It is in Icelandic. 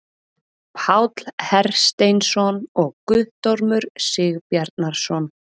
Páll Hersteinsson og Guttormur Sigbjarnarson.